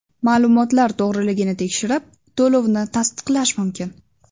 Ma’lumotlar to‘g‘riligini tekshirib, to‘lovni tasdiqlash mumkin.